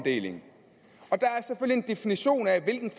en definition af hvilken